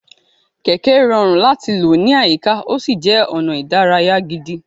Kẹ̀kẹ́ rọrùn láti lò ní àyíká, ó sì jẹ́ ọ̀nà ìdárayá gidi.